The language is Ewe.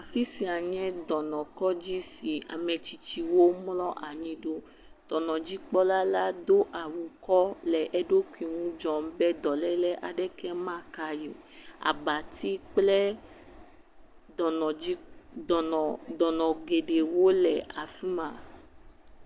Afisia nye dɔnɔkɔdzi si ame tsitsiwo mlɔ anyi ɖo. Dɔnɔdzikpɔla do awu kɔ le eɖokui nu dzɔm be dɔlèlea aɖeke ma ka ye o. Aba dzi kple dɔnɔ, dɔnɔ geɖewo le afima.